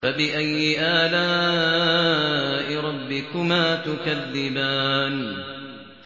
فَبِأَيِّ آلَاءِ رَبِّكُمَا تُكَذِّبَانِ